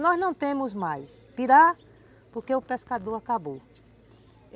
Nós não temos mais pirá, porque o pescador acabou.